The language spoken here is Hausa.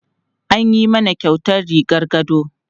An yi mana kyautar rigar gado.